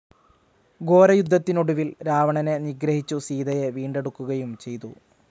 ഘോരയുദ്ധത്തിനൊടുവിൽ രാവണനെ നിഗ്രഹിച്ചു സീതയെ വീണ്ടെടുക്കുകയും ചെയ്തു.